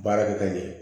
Baara kɛ ka ɲɛ